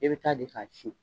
E bɛ taa de k'a ci